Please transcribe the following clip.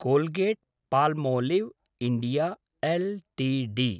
Colgate-Palmolive India LTD